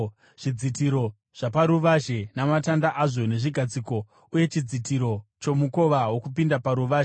zvidzitiro zvaparuvazhe namatanda azvo nezvigadziko, uye chidzitiro chomukova wokupinda paruvazhe;